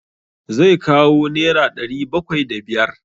Zai kawo nera ɗari bakwai da biyar.